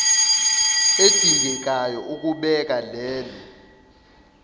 edingekayo ukubeka lelo